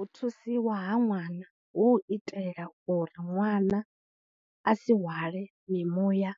U thusiwa ha ṅwana hu itela uri ṅwana a si hwale mimuya